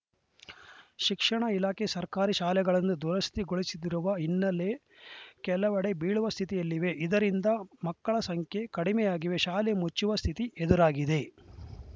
ಶಿಕ್ಷಣ ಇಲಾಖೆ ಸರ್ಕಾರಿ ಶಾಲೆಗಳನ್ನು ದುರಸ್ಥಿಗೊಳಿಸದಿರುವ ಹಿನ್ನಲೆ ಕೆಲವೆಡೆ ಬೀಳುವ ಸ್ಥಿತಿಯಲ್ಲಿವೆ ಇದರಿಂದ ಮಕ್ಕಳ ಸಂಖ್ಯೆ ಕಡಿಮೆಯಾಗಿವೆ ಶಾಲೆ ಮುಚ್ಚುವ ಸ್ಥಿತಿ ಎದುರಾಗಿದೆ